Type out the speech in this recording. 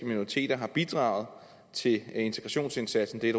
minoriteter har bidraget til integrationsindsatsen det er